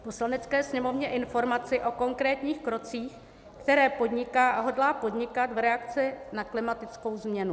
Poslanecké sněmovně informaci o konkrétních krocích, které podniká a hodlá podnikat v reakci na klimatickou změnu."